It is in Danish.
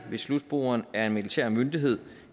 slutbrugeren er en militær myndighed